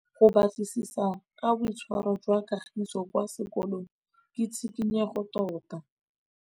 Go batlisisa ka boitshwaro jwa Kagiso kwa sekolong ke tshikinyêgô tota.